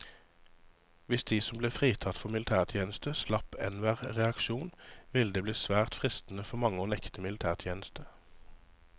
Hvis de som ble fritatt for militærtjeneste slapp enhver reaksjon, ville det bli svært fristende for mange å nekte militætjeneste.